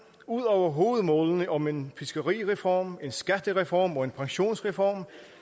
ud over hovedmålene om en fiskerireform en skattereform og en pensionsreform